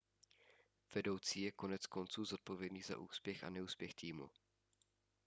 vedoucí je koneckonců zodpovědný za úspěch a neúspěch týmu